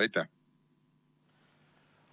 Aitäh!